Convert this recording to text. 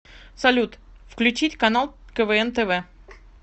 салют включить канал квн тв